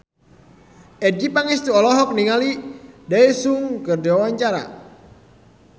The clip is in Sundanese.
Adjie Pangestu olohok ningali Daesung keur diwawancara